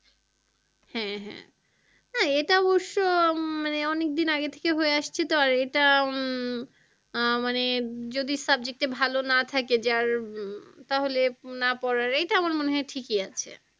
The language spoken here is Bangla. হ্যাঁ হ্যাঁ, হ্যাঁ এটা অবশ্য মানে অনেকদিন আগে থেকে হয়ে আসছে তো আর এটা উম আহ মানে যদি subject এ ভালো না থাকে যে উম তাহলে না পড়ার এটা আমার মনে হয় ঠিকই আছে।